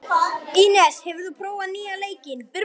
Ínes, hefur þú prófað nýja leikinn?